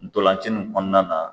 Ntolanci in kɔnɔna na